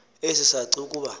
esi saci kuba